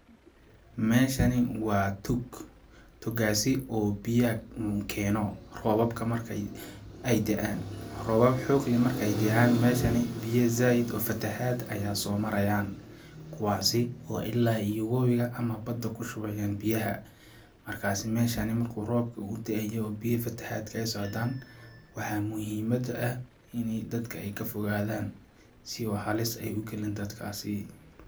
Meeshani waa tog, togaasi oo biyaha keeno roobabka marki ay daan ,roobab xoog leh marki ay jiraan meeshani biya zaaid oo fatahaad ayaa soo marayaan ,kuwaasi oo ilaa iyo wabiga ama badda ku shubayaan biyaha ,markaasi meeshani markuu roobka uu daayo ,biya fatahaadka ay socdaan ,waxaa muhimadda ah ini dadka ka fogadaan si oo halis ay u galin dadkaasii.